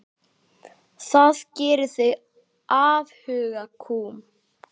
Það gerði þig afhuga kúm.